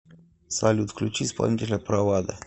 салют включи исполнителя правада